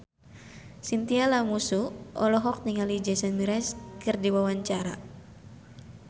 Chintya Lamusu olohok ningali Jason Mraz keur diwawancara